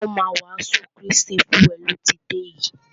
Àwọn ti o má a wàásù Krístì fún e lọ ti dé yìí.